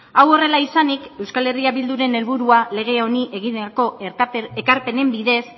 hau horrela izanik euskal herria bilduren helburua lege honi egineko ekarpenen bidez